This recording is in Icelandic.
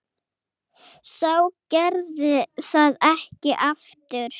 Sá gerði það ekki aftur.